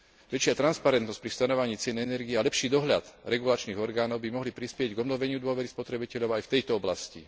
Väčšia transparentnosť pri stanovovaní cien energií a lepší dohľad regulačných orgánov by mohli prispieť k obnoveniu dôvery spotrebiteľov aj v tejto oblasti.